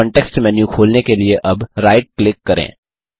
context menu खोलने के लिए अब राइट क्लिक करें